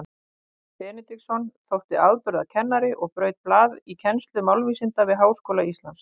Hreinn Benediktsson þótti afburðakennari og braut blað í kennslu málvísinda við Háskóla Íslands.